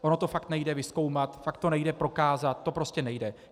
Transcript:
Ono to fakt nejde vyzkoumat, fakt to nejde prokázat, to prostě nejde.